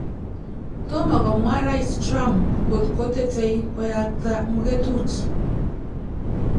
Tomo komwa Rais Trump ngot kotetei koyakta muketut